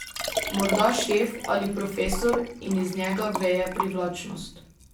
Morda šef ali profesor in iz njega veje privlačnost.